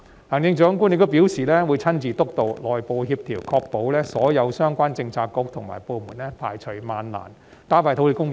行政長官亦表示會親自督導內部協調，確保所有相關政策局和部門排除萬難，加快土地供應。